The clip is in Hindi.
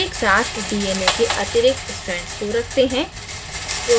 एक साथ dna के अतिरिक्त strands को रखते हैं